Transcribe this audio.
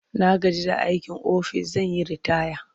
Na gaji da aikin ofis zan yi ritaya.